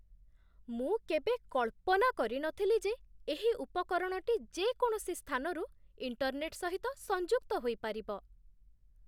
ମୁଁ କେବେ କଳ୍ପନା କରି ନଥିଲି ଯେ ଏହି ଉପକରଣଟି ଯେକୌଣସି ସ୍ଥାନରୁ ଇଣ୍ଟର୍ନେଟ୍ ସହିତ ସଂଯୁକ୍ତ ହୋଇପାରିବ।